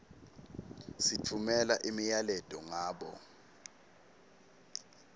sitfumela imiyaleto ngabo